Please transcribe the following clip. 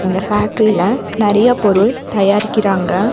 இந்த ஃபேக்டரில நெறைய பொருள் தயாரிக்குறாங்க.